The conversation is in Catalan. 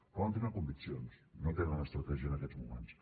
poden tenir conviccions no tenen estratègia en aquests moments